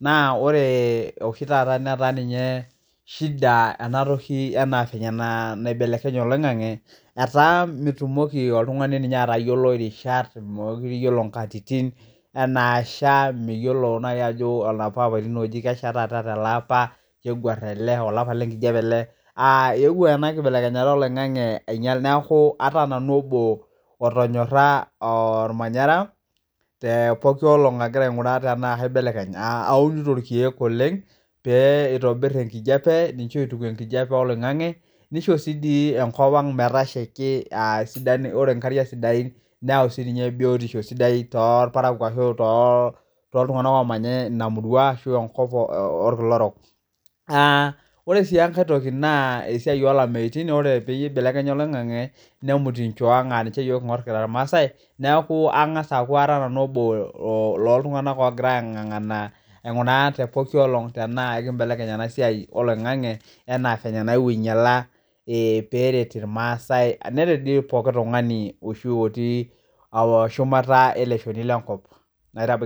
naa ore oshi taata netaa ninye eshida anatoki ena anaavile nabelekenye loing'ang'e, etaa mitumoki oltungani ninye atayiolo rishat, mekore iyiolo nkatitin enaasha, miyiolo nai ajo olapa lapatin oji kesha taata te ale apa nebuarr teale, olapa le nkijepe ale, aa euwuo ana kibelekenyata e loing'ang'e ainyal, naaku ataa nanu obo otonyoraa olmanyara te pooki olong' agira ainguraa tanaa kaibelekeny, aunito ilkeek oleng pee eitobirr enkijepe ashu eituku enkijepe e loing'ang'e, ninche oituku nkijepe e loing'ang'e, neisho si dii enkopang metashaki aasidan ore inkariak sidain neyau sii biotisho sidai too ilparakuo ashu too iltungana oomanya inia murua ashu enkop oolkila orok, naa ore sii enkae toki naa esiai oolameitin, ore peyie eibelekenya loing'ang'e nemut inchoo ang' aaninye king'or yook anaa ilmaasai, neaku angas aaku ara nanu obuo looltunganak ogira aingangana ainguraa te pooki olong' anaa kaibelekeny ena siai eloing'ang'e, anaa fenye naewuo ainyalaa peeret ilmaaasai, neret dei pooki tungani oishu otii atuia shumata ele ilshoni le nkop.